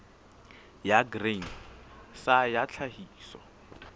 ya grain sa ya tlhahiso